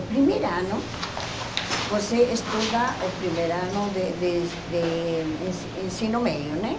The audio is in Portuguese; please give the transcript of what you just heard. O primeiro ano, você estuda o primeiro ano de de de ensi ensino médio, né?